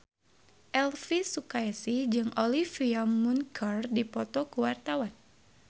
Elvy Sukaesih jeung Olivia Munn keur dipoto ku wartawan